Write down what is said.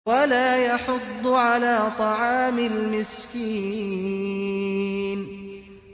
وَلَا يَحُضُّ عَلَىٰ طَعَامِ الْمِسْكِينِ